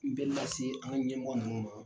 N bɛ lase an ka ɲɛmɔgɔ ninnu ma.